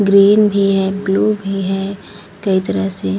green भी है blue भी है कई तरह से --